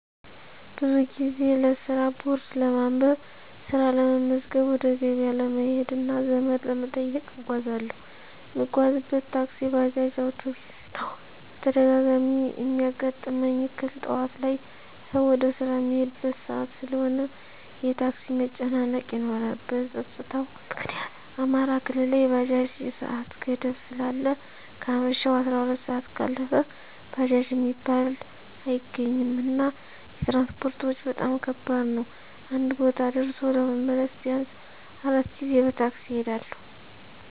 ብዙ ጊዜ ለስራ ቦርድ ለማንበብ፣ ስራ ለመመዝገብ፣ ወደ ገበያ ለመሄድ እና ዘመድ ለመጠየቅ እጓዛለሁ። እምጓጓዝበት ታክሲ፣ ባጃጅ፣ አዉቶቢስ ነዉ። በተደጋጋሚ እሚያጋጥመኝ እክል ጠዋት ላይ ሰዉ ወደ ስራ እሚሄድበት ሰአት ስለሆነ የታክሲ መጨናነቅ ይኖራል። በፀጥታዉ ምክኒያት አማራ ክልል ላይ የባጃጅ የሰአት ገደብ ስላለ ከአመሸሁ 12 ሰአት ካለፈ ባጃጅ እሚባል አይገኝም። እና የትራንስፖርት ወጭ በጣም ከባድ ነዉ አንድ ቦታ ደርሶ ለመመለስ ቢያንስ 4 ጊዜ በታክሲ እሄዳለሁ።